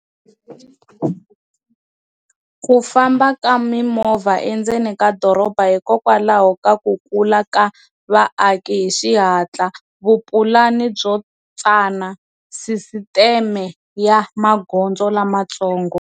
Ku famba ka mimovha endzeni ka doroba, hikwalaho ka ku kula ka vaaki hi xihatla, vupulani byo tsana, sisiteme ya magondzo lamatsongo.